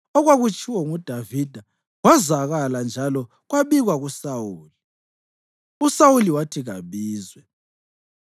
Okwakutshiwo nguDavida kwazwakala njalo kwabikwa kuSawuli, uSawuli wathi kabizwe.